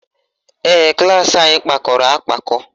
Ee, klaasị anyị kpakọrọ akpakọ